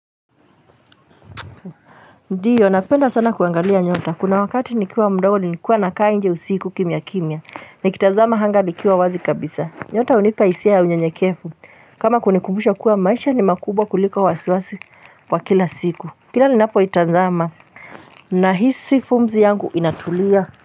Ndiyo, napenda sana kuangalia nyota. Kuna wakati nikiwa mdogo nilikuwa nakaa nje usiku kimya kimya. Nikitanzama anga nikiwa wazi kabisa. Nyota hunipa hisia ya unyenyekevu. Kama kunikumbusha kuwa maisha ni makubwa kuliko wasiwasi wa kila siku. Kila ninapo itanzama. Nahisi pumzi yangu inatulia.